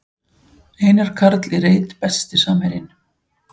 Einar Karl í reit Besti samherjinn?